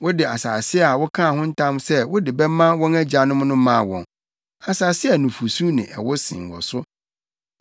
Wode asase a wokaa ho ntam sɛ wode bɛma wɔn agyanom no maa wɔn, asase a nufusu ne ɛwo sen wɔ so.